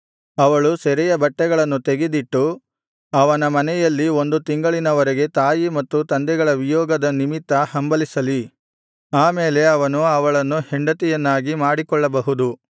ಅವಳು ಸೆರೆಯ ಬಟ್ಟೆಗಳನ್ನು ತೆಗೆದಿಟ್ಟು ಅವನ ಮನೆಯಲ್ಲಿ ಒಂದು ತಿಂಗಳಿನ ವರೆಗೆ ತಾಯಿ ಮತ್ತು ತಂದೆಗಳ ವಿಯೋಗದ ನಿಮಿತ್ತ ಹಂಬಲಿಸಲಿ ಆಮೇಲೆ ಅವನು ಅವಳನ್ನು ಹೆಂಡತಿಯನ್ನಾಗಿ ಮಾಡಿಕೊಳ್ಳಬಹುದು